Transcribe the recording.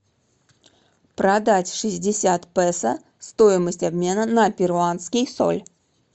продать шестьдесят песо стоимость обмена на перуанский соль